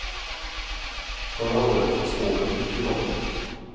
Förra året var spåren mycket bra.